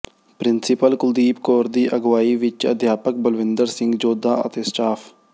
principal Kuldeep Kaur ਦੀ ਅਗਵਾਈ ਵਿਚ ਅਧਿਆਪਕ ਬਲਵਿੰਦਰ ਸਿੰਘ ਜੋਧਾਂ ਅਤੇ ਸਟਾਫ਼